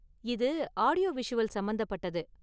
இது ஆடியோவிஷுவல் சம்பந்தப்பட்டது.